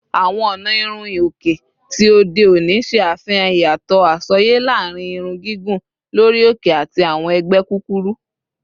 Awọn ọna irun hi-oke ti ode oni ṣe afihan iyatọ asọye laarin irun gigun lori oke ati awọn ẹgbẹ kukuru